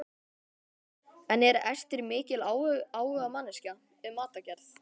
En er Ester mikil áhugamanneskja um matargerð?